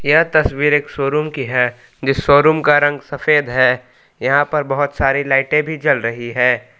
यह तस्वीर एक शोरूम की है जिस शोरूम का रंग सफेद है यहां पर बहुत सारी लाइटे भी जल रही है।